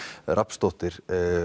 Rafnsdóttir